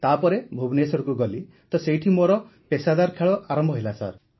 ତା ପରେ ଭୁବନେଶ୍ୱରକୁ ଗଲି ତ ସେଇଠି ମୋର ପେସାଦାର ଖେଳ ଆରମ୍ଭ ହେଲା ସାର୍